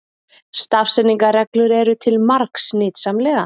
Stafsetningarreglur eru til margs nytsamlegar.